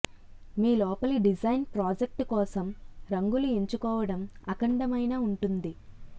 మీ లోపలి design project కోసం రంగులు ఎంచుకోవడం అఖండమైన ఉంటుంది